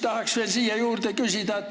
Tahan veel juurde küsida.